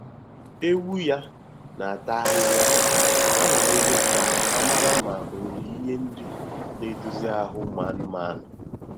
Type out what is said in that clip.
Ewu ya na-ata ahịhịa anwalere ka a mara ma o nwere ihe nri na edozi ahụ ụmụ anụmanụ